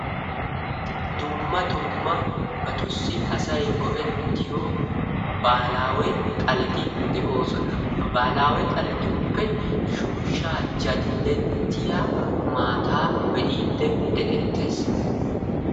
Dumma dummabatussi asay go"ettiyoo baahilaawe xaaleti de'oosona. Ha baahilaawe xaaletuppe shooshshaa jaalettiyaa maataa be'idi dee"ettees.